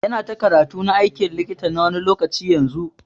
Yana ta karatu na aikin likita na wani lokaci yanzun.